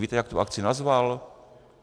Víte, jak tu akci nazval?